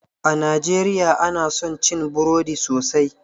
A najeriya ana son cin burodi sosai.